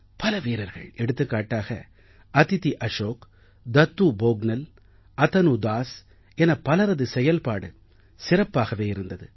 பல வீரர்கள் எடுத்துக்காட்டாக அதிதி அஷோக் தத்தூ போக்னல் அதனு தாஸ் என பலரது செயல்பாடு சிறப்பாகவே இருந்தது